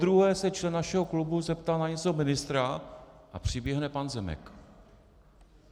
Podruhé se člen našeho klubu zeptal na něco ministra a přiběhne pan Zemek.